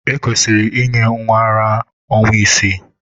Ekwesịrị inye nwa ara ara ọnwa isii.